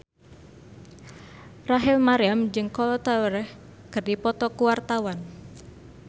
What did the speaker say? Rachel Maryam jeung Kolo Taure keur dipoto ku wartawan